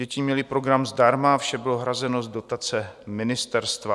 Děti měly program zdarma, vše bylo hrazeno z dotace ministerstva.